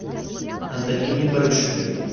антонине барышевой